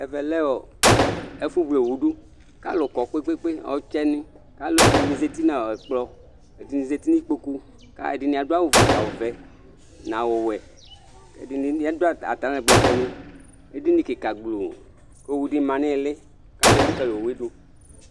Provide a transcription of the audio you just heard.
ɛvɛ lɛ ɛfu wle owu du alu kɔkpekpe alu zatinu ɩkpokʊ alu zatinu ikpokʊ awu vɛ nu ɔwɛ ɛdini bi adu atalɛgbɛni adini kika gbloo kʊ owu ma nu ɩli kalu elikali owu dʊ